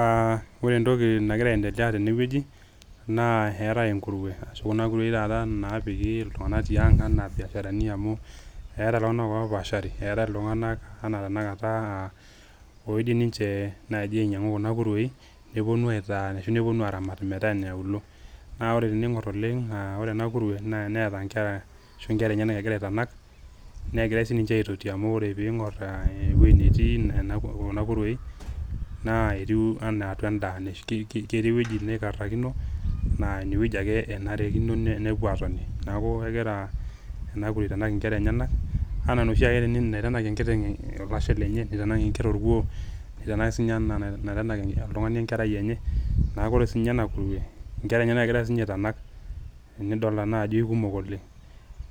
Aa, ore entoki nagira aendelea tene wueji naa eetae enkurue ashu kuna kurue oshi napiki iltunganak tiang anaa irbiasharani amu eeta iltunganak opaashari . Eeetae iltunganak anaa tenakata oidim ninche naji ainyiangu kuna kuruei neponu aitaa ashu neponu aramat metaa iniaaluo . Naa ore tenengor oleng ore ena kurue neeta inkera ashu inkera enyenak egira aitanak negira sininche aitoti amu pingor ewueji netii a kuna kuruei naa etiu enaa atua endaa , ketii ewueji naikarakino naa ine wueji enarikino nepuo atoni . Niaku egira ena kurue aitanak nkera enyenak anaa enoshi ake naitanak enkiteng olashe lenye, nitanak enker orkuoo, nitanak sininye anaa enaitanak oltungani enkerai enye, niaku ore kurue inkera enyenak sinye egira aitanak amu idolta naa ajo kikumok oleng.